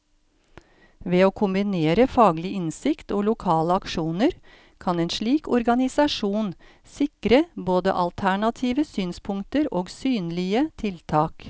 Ved å kombinere faglig innsikt og lokale aksjoner, kan en slik organisasjon sikre både alternative synspunkter og synlige tiltak.